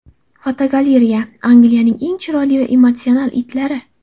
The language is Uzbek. Fotogalereya: Angliyaning eng chiroyli va emotsional itlari.